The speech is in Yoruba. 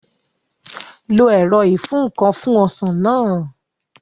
Lo ẹ̀rọ ìfúǹkan fún Ọsàn náà